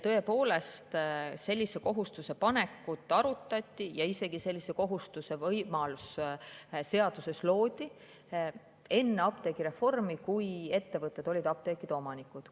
Tõepoolest, sellise kohustuse panekut arutati ja sellise kohustuse võimalus isegi seaduses loodi enne apteegireformi, kui ettevõtted olid apteekide omanikud.